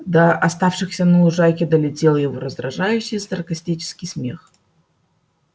до оставшихся на лужайке долетел его раздражающе саркастический смех